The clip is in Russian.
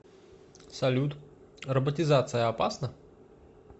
салют роботизация опасна